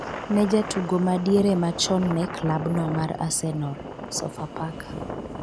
ne jatugo ma diere machon ne klabno mar arsenal, sofapaka